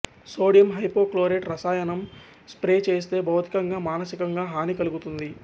sodium hypochlorite రసాయనం spray చేస్తే భౌతికంగా మానసికంగా హాని కలుగుతుంది